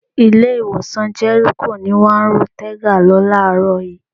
Ilé-ìwòsàn Jẹ́ríkò ni wọ́n ru Tega lọ láàárọ̀ yìí.